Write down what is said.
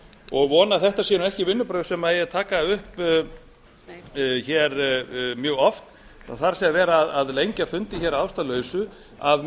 og vona að þetta séu ekki vinnubrögð sem eigi að taka upp mjög oft það er að vera að lengja fundi að ástæðulausu af